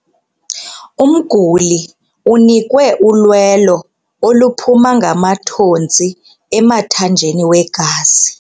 Umguli unikwe ulwelo oluphuma ngamathontsi emthanjeni wegazi.